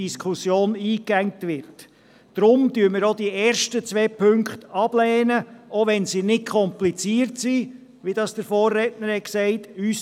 Deshalb lehnen wir die ersten zwei Punkte ab, auch wenn diese nicht kompliziert sind, wie es der Vorredner gesagt hat.